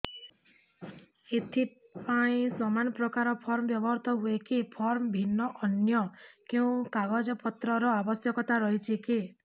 ଏଥିପାଇଁ ସମାନପ୍ରକାର ଫର୍ମ ବ୍ୟବହୃତ ହୂଏକି ଫର୍ମ ଭିନ୍ନ ଅନ୍ୟ କେଉଁ କାଗଜପତ୍ରର ଆବଶ୍ୟକତା ରହିଛିକି